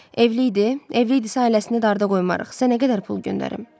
Evli idi, evli idisə ailəsini darda qoymarıq, sənə nə qədər pul göndərim?